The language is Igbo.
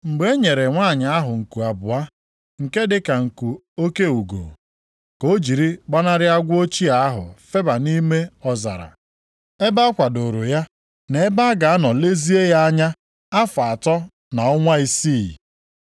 Ma e nyere nwanyị ahụ nku abụọ, nke dịka nku oke ugo, ka o jiri gbanarị agwọ ochie ahụ feba nʼime ọzara, ebe a kwadooro ya, na ebe a ga-anọ lezie ya anya afọ atọ na ọnwa isii.